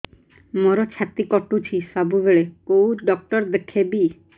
ମୋର ଛାତି କଟୁଛି ସବୁବେଳେ କୋଉ ଡକ୍ଟର ଦେଖେବି